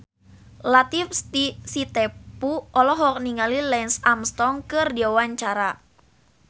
Latief Sitepu olohok ningali Lance Armstrong keur diwawancara